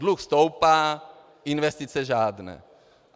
Dluh stoupá, investice žádné.